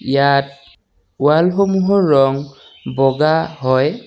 ইয়াত ৱালসমূহৰ ৰং বগা হয়।